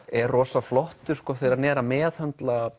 er rosa flottur þegar hann er að meðhöndla